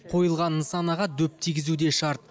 қойылған нысанаға дөп тигізу де шарт